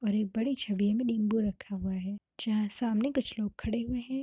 और एक बड़ी छवि में नीम्बू रखा हुआ है जहाँ सामने कुछ लोग खड़े हुए है।